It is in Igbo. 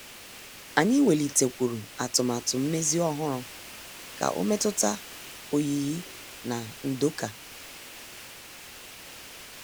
Anyị welitekwuru atụmatụ mmezi ọhụrụ ka ọ metuta oyiyi na ndoka.